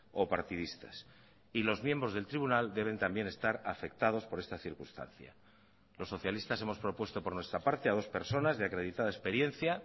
o partidistas y los miembros del tribunal deben también estar afectados por esta circunstancia los socialistas hemos propuesto por nuestra parte a dos personas de acreditada experiencia